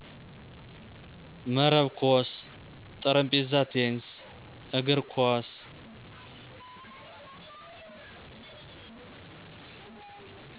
መረብ ኮስ ,ጠረጴዛ ቴንስ, እግር ኮስ